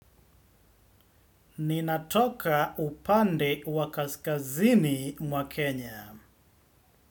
Ninatoka upande wa kaskazini mwa Kenya.